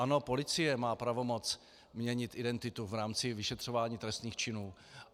Ano, policie má pravomoc měnit identitu v rámci vyšetřování trestných činů.